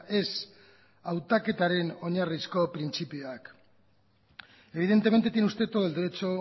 ez hautaketaren oinarrizko printzipioak evidentemente tiene usted todo el derecho